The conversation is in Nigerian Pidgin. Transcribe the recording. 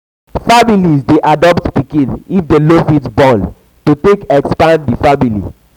families de adopt pikin if dem no fit born to take expand di family